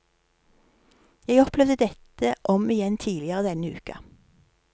Jeg opplevde dette om igjen tidligere denne uka.